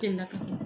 Delila ka kɛ